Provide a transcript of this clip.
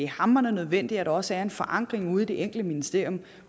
hamrende nødvendigt at der også er en forankring ude i hvert enkelt ministerium